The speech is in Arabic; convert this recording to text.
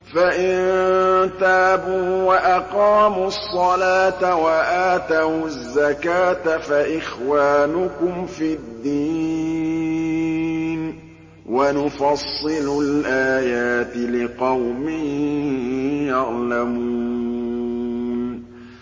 فَإِن تَابُوا وَأَقَامُوا الصَّلَاةَ وَآتَوُا الزَّكَاةَ فَإِخْوَانُكُمْ فِي الدِّينِ ۗ وَنُفَصِّلُ الْآيَاتِ لِقَوْمٍ يَعْلَمُونَ